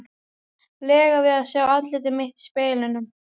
lega við að sjá andlit mitt í speglinum.